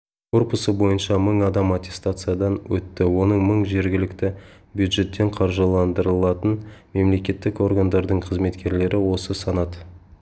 корпусы бойынша мың адам аттестациядан өтті оның мың жергілікті бюджеттен қаржыландырылатын мемлекеттік органдардың қызметкерлері осы санат